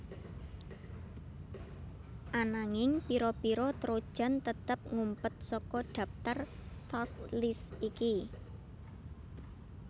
Ananging pira pira trojan tetep ngumpet saka dhaptar task list iki